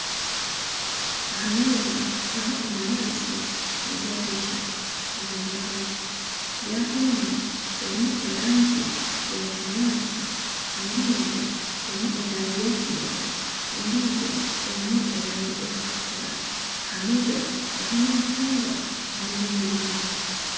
Aha meeza hariho enanasi na jaga ishatu zirimu amaizi, jaga emwe erimu erangi ya kinyaatsi, endiijo erimu erangi ya kinekye, endiijo erimu erangi erikutukura aha meeza hariho n'emicungwa n'ebindi bintu